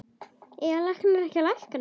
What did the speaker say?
Eiga læknar ekki að lækna?